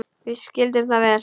Við skildum það vel.